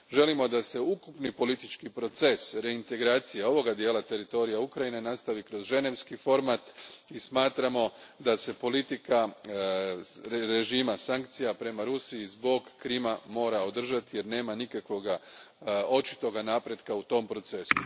Želimo da se ukupni politički proces reintegracije ovoga dijela teritorija Ukrajine nastavi kroz ženevski format i smatramo da se politika režima sankcija prema Rusiji zbog Krima mora održati jer nema nikakvog očitog napretka u tom procesu.